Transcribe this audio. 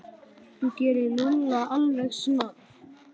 Þú gerir Lúlla alveg snar,